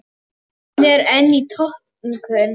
Hún er enn í notkun.